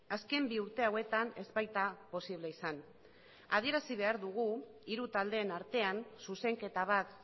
azken bi urte hauetan ez baita posible izan adierazi behar dugu hiru taldeen artean zuzenketa bat